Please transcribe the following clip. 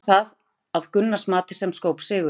Hvað var það að Gunnars mati sem skóp sigurinn?